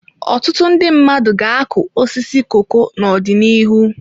Ọtụtụ ndị mmadụ ga-akụ osisi koko n'ọdịnihu.